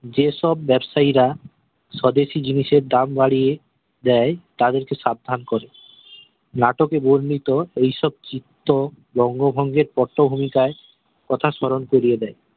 যে সব ব্যাবসায়ীরা স্বদেশি জিনিসের দাম বাড়িয়ে দেয় তাদেরকে সাবধান করে নাটকে বর্ণিত এই সব চিত্র বঙ্গভঙ্গের পটভূমিকায় কথা স্মরণ করিয়ে দেয়